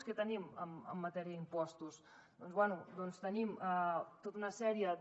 què tenim en matèria d’impostos doncs bé tenim tota una sèrie de